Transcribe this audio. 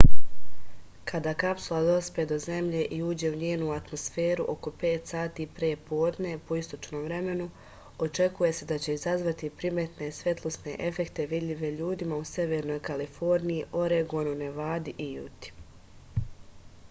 када капсула доспе до земље и уђе у њену атмосферу око 5 сати пре подне по источном времену очекује се да ће изазвати приметне светлосне ефекте видљиве људима у северној калифорнији орегону невади и јути